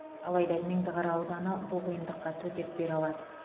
алайда меңдіқара ауданы бұл қиындыққа төтеп бере алады